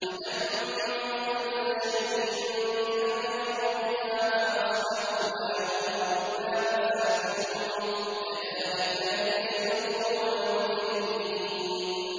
تُدَمِّرُ كُلَّ شَيْءٍ بِأَمْرِ رَبِّهَا فَأَصْبَحُوا لَا يُرَىٰ إِلَّا مَسَاكِنُهُمْ ۚ كَذَٰلِكَ نَجْزِي الْقَوْمَ الْمُجْرِمِينَ